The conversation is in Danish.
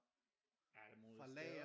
Alle mulige steder